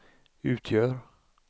utgör